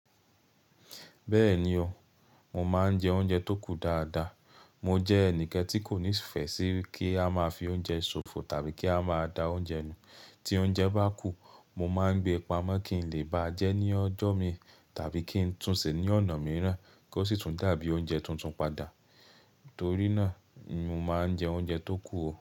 Bẹ́ẹ̀ni o, mo máa ń jẹ oúnjẹ tó kù dáadáa. Mọ jẹ́ ẹnìkan tí kò nífẹ̀ẹ́ sí kí a máa fi oúnjẹ ṣòfò tàbí kí a máa da oúnjẹ nù. Tí oúnjẹ bá kù, mo máa ń gbé e paámọ́ kí n lè bá jẹ ẹ́ ní ọjọ́ mi tàbí kí n tún ṣe ní ọ̀nà míràn kí ó sì tún dàbí oúnjẹ tuntun padà. Torí náà ni mo máa ń jẹ oúnjẹ tó kù o.